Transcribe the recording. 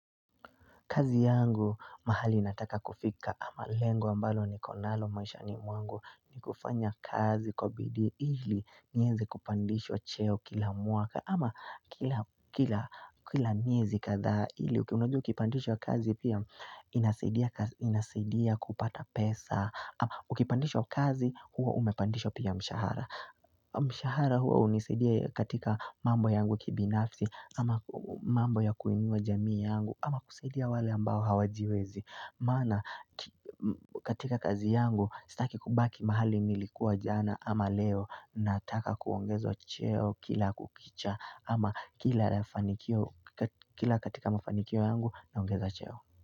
Kazi yangu mahali nataka kufika ama lengo ambalo niko nalo maishani mwangu ni kufanya kazi kwa bidii ili niweze kupandishwa cheo kila mwaka ama kila kila miezi kadhaa ili unajua ukipandishwa kazi pia inasidia kupata pesa ama ukipandishwa kazi huwa umepandishwa pia mshahara. Mshahara huo hunisaidia katika mambo yangu kibinafsi ama mambo ya kuinua jamii yangu ama kusaidia wale ambao hawajiwezi Maana katika kazi yangu sitaki kubaki mahali nilikuwa jana ama leo nataka kuongezwa cheo kila kukicha ama kila kila katika mafanikio yangu naongeza cheo.